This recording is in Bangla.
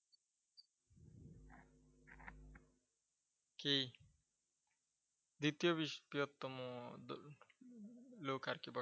কি? দ্বিতীয় বৃহত্তম ধর্ম লোক আর কি ।